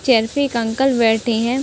Chair पे एक uncle बैठे हैं।